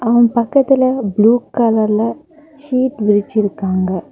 அவன் பக்கத்துல ப்ளூ கலர்ல சீட் விரிச்சு இருக்காங்க.